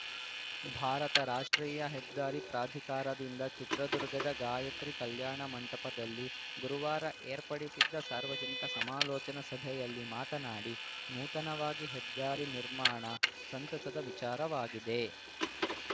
ಭಾರತ ರಾಷ್ಟ್ರೀಯ ಹೆದ್ದಾರಿ ಪ್ರಾಧಿಕಾರದಿಂದ ಚಿತ್ರದುರ್ಗದ ಗಾಯತ್ರಿ ಕಲ್ಯಾಣ ಮಂಟದಲ್ಲಿ ಗುರುವಾರ ಏರ್ಪಡಿಸಿದ್ದ ಸಾರ್ವಜನಿಕ ಸಮಾಲೋಚನಾ ಸಭೆಯಲ್ಲಿ ಮಾತನಾಡಿ ನೂತನವಾಗಿ ಹೆದ್ದಾರಿ ನಿರ್ಮಾಣ ಸಂತಸದ ವಿಚಾರವಾಗಿದೆ